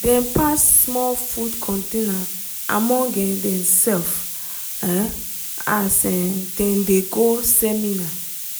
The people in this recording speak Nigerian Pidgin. dem pass small food container among um demself um as um dem dey go seminar.